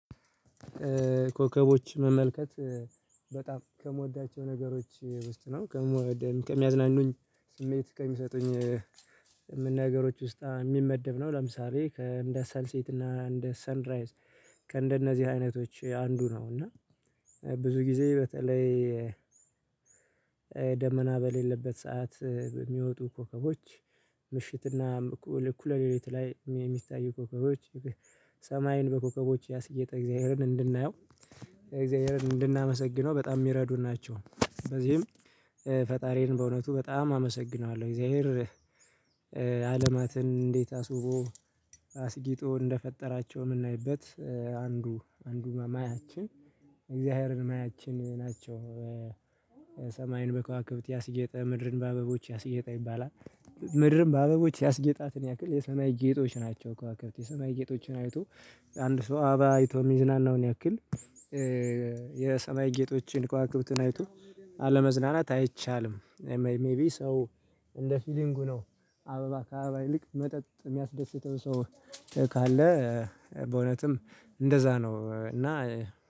ኮከቦችን መመልከት በጣም ከምወዳቸው ነገሮች ውስጥ ነው። ከሚያዝናኑኝ ስሜት ከሚሰጡኝ ነገሮች ውስጥ የሚመደብ ነው። ለምሳሌ ከእንደ ሰንሴት እና እንደ ሰንራይዝ ከእንደነዚህ አይነቶች አንዱ ነው። እና ብዙ ጊዜ በተለይ ደመና በሌለበት ሰዓት በሚወጡ ኮከቦች ምሽትና እኩለ ሌሊት ላይ የሚታዩ ኮከቦች ሰማይን በኮከቦች ያስጌጠ እግዚአብሔርን እንድናየው እግዚአብሔርን እንድናመሰግነው በጣም የሚረዱን ናቸው። በዚህም ፈጣሪን በእውነቱ በጣም አመሰግነዋለሁ። እግዚአብሔር ዓለማትን እንዴት አስውቦ አስጊጦ እንደፈጠራቸው የምናይበት አንዱ አንዱ ማያችን እግዚአብሔርን ማያችን ናቸው። ሰማይን በከዋክብት ያስጌጠ ምድርን በአበቦች ያስጌጠ ይባላል። ምድርም በአበቦች ያስጌጣትን ያክል የሰማይ ጌጦች ናቸው። ከዋክብት የሰማይ ጌጦችን ዐይቶ አንድ ሰው አበባ ዐይቶ የሚዝናናውን ያክል የሰማይ ጌጦችን ከዋክብትን ዐይቶ አለመዝናናት አይቻልም። ሜይቢ ሰው እንደ ፊሊንጉ ነው አበባ ከአበባ ይልቅ መጠጥ የሚያስደስተው ሰው ካለ በእውነትም እንደዛ ነው። እና